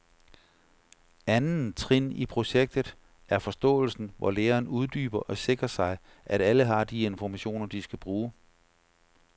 Anden trin i projektet er forståelsen, hvor læreren uddyber og sikrer sig, at alle har de informationer, de skal bruge.